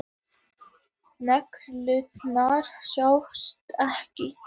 Neglurnar sjást ekki.